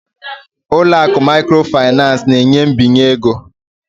ụlọ akụ microfinance na-enye mbinye ego